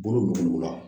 Bolo bɛ o la